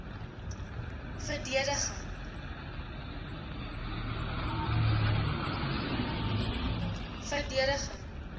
verdedig